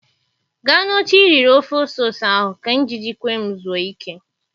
Gaa n'oche iriri ofe ose ose ahụ ka njiji kwem zuo ike